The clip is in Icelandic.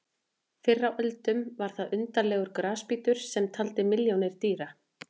Fyrr á öldum var þar undarlegur grasbítur sem taldi milljónir dýra.